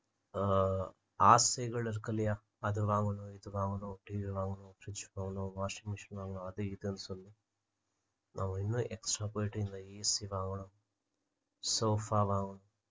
ஆஹ் ஆசைகள் இருக்கு இல்லையா அது வாங்கணும் இது வாங்கணும் இப்படி இது வாங்கணும் fridge வாங்கணும் washing machine வாங்கணும் அது இதுன்னு சொல்லி நம்ம இன்னும் extra போயிட்டு இருந்தா AC வாங்கணும் soafa வாங்கணும்